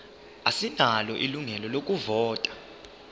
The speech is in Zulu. asinalo ilungelo lokuvota